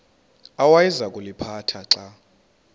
awayeza kuliphatha xa